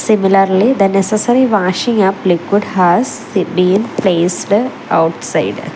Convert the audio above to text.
similarly the necessary washing up liquid has been placed outside.